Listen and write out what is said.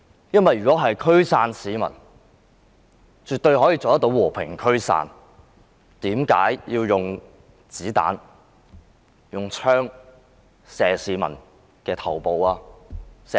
因為如果驅散市民，絕對可以用和平方式驅散。為甚麼要用子彈和槍射向市民的頭部和眼部？